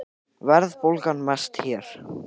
Verðbólgan mest hér